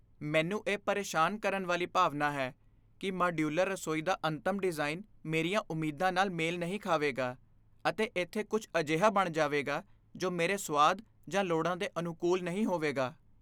ਮੈਨੂੰ ਇਹ ਪਰੇਸ਼ਾਨ ਕਰਨ ਵਾਲੀ ਭਾਵਨਾ ਹੈ ਕਿ ਮਾਡਿਊਲਰ ਰਸੋਈ ਦਾ ਅੰਤਮ ਡਿਜ਼ਾਈਨ ਮੇਰੀਆਂ ਉਮੀਦਾਂ ਨਾਲ ਮੇਲ ਨਹੀਂ ਖਾਵੇਗਾ, ਅਤੇ ਇੱਥੇ ਕੁਝ ਅਜਿਹਾ ਬਣ ਜਾਵੇਗਾ ਜੋ ਮੇਰੇ ਸੁਆਦ ਜਾਂ ਲੋੜਾਂ ਦੇ ਅਨੁਕੂਲ ਨਹੀਂ ਹੋਵੇਗਾ।